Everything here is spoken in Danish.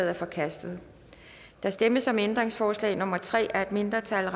er forkastet der stemmes om ændringsforslag nummer tre af et mindretal